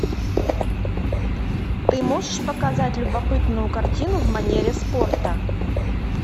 ты можешь показать любопытную картину в манере спорта